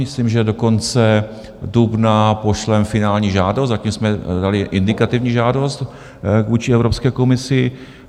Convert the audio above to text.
Myslím, že do konce dubna pošleme finální žádost, zatím jsme dali indikativní žádost vůči Evropské komisi.